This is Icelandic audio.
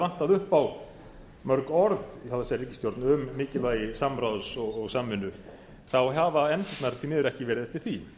upp á mörg orð hjá þessari ríkisstjórn um mikilvægi samráðs og samvinnu hafa efndirnar því miður ekki verið eftir því